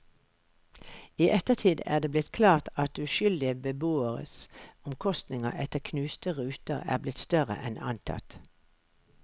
I ettertid er det blitt klart at uskyldige beboeres omkostninger etter knuste ruter er blitt større enn antatt.